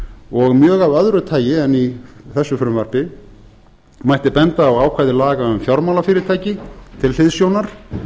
og mjög af öðru tagi en í þessu frumvarpi mætti benda á ákvæði laga um fjármálafyrirtæki til hliðsjónar